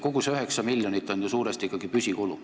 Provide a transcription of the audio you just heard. Kogu see 9 miljonit on ju suuresti ikkagi püsikulud.